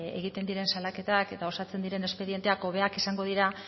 egiten diren salaketak eta osatzen diren espedienteak hobeak izango dira